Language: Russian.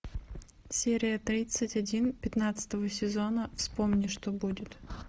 серия тридцать один пятнадцатого сезона вспомни что будет